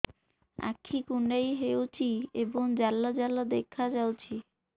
ଆଖି କୁଣ୍ଡେଇ ହେଉଛି ଏବଂ ଜାଲ ଜାଲ ଦେଖାଯାଉଛି